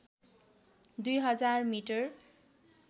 २ हजार मिटर